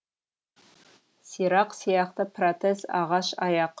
сирақ сияқты протез ағаш аяқ